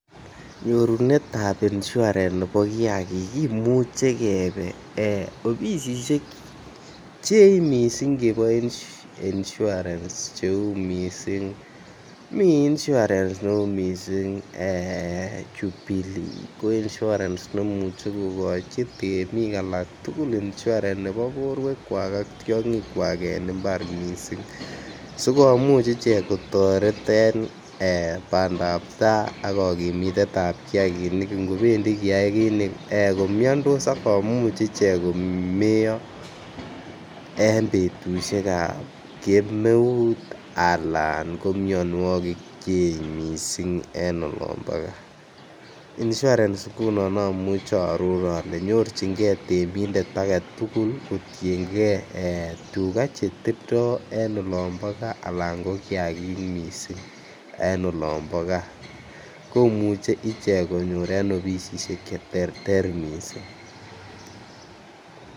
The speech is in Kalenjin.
Nyorunetab insurance nebo kiagik kimuche kebee obisiek Cheechen missing chebo insurance che uu missing mii insurance ne uu missing ee jubilee ko indi nemuche kogochi temik alak tugul insurance nebo borwekwak ak tyogikwak en imbar missing. Sikomuch icheget kotoret en ee bandap taa ak kokimitetab kiagikinik ii ngobendi kiagik ko miondos ak komuch ichek komeyo en betushek ab kemeut alan ko mionwokik cheech missing en olombo gaa. Insurance ngunon omuche oo ror ngunon ole nyorchin gee temindet agetugul kotiengee tuga che tindo en olombo gaa alak ko kiagik missing en olombo gaa komuche ichek konyor ichek en obidisishek che terter missing